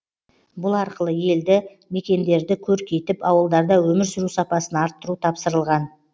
бұл арқылы елді мекендерді көркейтіп ауылдарда өмір сүру сапасын арттыру тапсырылған